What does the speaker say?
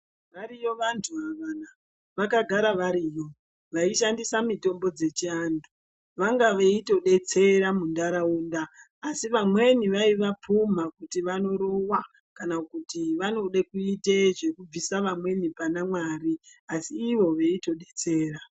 Variyo vantu avana vakagara variyo vaishandisa mitombo dzechi antu vanga veito detsera mu ndaraunda asi vamweni vaiva pumha kuti vano rova kana kuti vanode kuite zveku bvisa vamweni pana Mwari asi ivo veito detsera.